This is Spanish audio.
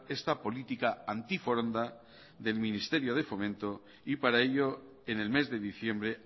esta política anti foronda del ministerio de fomento y para ello en el mes de diciembre